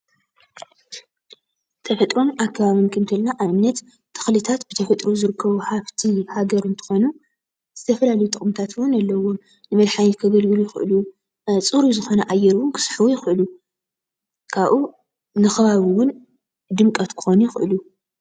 ተፈጥሮ አከባብን ክንብል ከለና አብነት፡- ተክሊታት ብተፈጥሮ ዝርከቡ ሃፍቲ ሃገር እንትኾኑ ዝተፈላለዩ ጥቅሚታት እውን አለዎም፡፡ ንመድሓኒት ከገልግሉ ይኸእሉ፡፡ ፅሩይ ዝኮነ አየር እውን ክስሕቡ ይኸእሉ፡፡ ካብኡ ንኸባቢ እውን ድምቀት ክኾኑ ይክእሉ፡፡